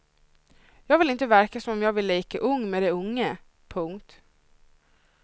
Jag vill inte verka som om jag vill leka ung med de unga. punkt